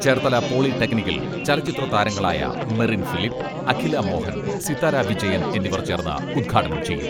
ചേർത്തല പോളിടെക്നിക്കിൽ ചലച്ചിത്ര താരങ്ങളായ മെറിൻ ഫിലിപ്പ്, അഖില മോഹൻ, സിത്താര വിജയൻ എന്നിവർ ചേർന്ന് ഉദ്ഘാടനം ചെയ്യും.